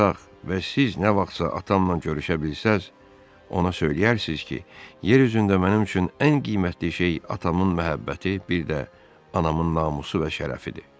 və siz nə vaxtsa atamla görüşə bilsəz, ona söyləyərsiz ki, yer üzündə mənim üçün ən qiymətli şey atamın məhəbbəti, bir də anamın namusu və şərəfidir.